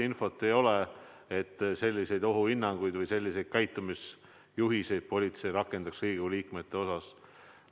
Minul ei ole infot, et selliseid ohuhinnanguid või selliseid käitumisjuhiseid politsei Riigikogu liikmete osas rakendaks.